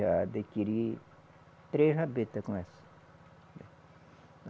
Já adquiri três rabeta com essa.